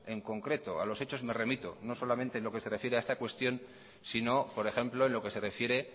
en concreto a los hechos me remito no solamente en lo que se refiere a esta cuestión sino por ejemplo en lo que se refiere